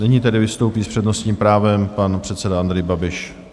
Nyní tedy vystoupí s přednostním právem pan předseda Andrej Babiš.